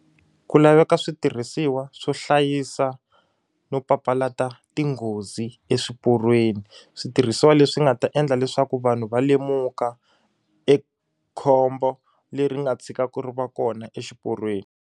Ku laveka switirhisiwa swo hlayisa no papalata tinghozi eswiporweni switirhisiwa leswi nga ta endla leswaku vanhu va lemuka ekhombo leri nga tshikaku ri va kona exiporweni.